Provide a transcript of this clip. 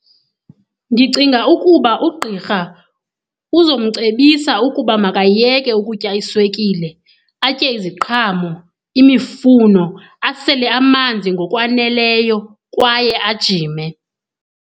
Ndicinga ukuba ugqirha uzomcebisa ukuba makayeke ukutya iswekile, atye iziqhamo, imifuno, asele amanzi ngokwaneleyo kwaye ajime.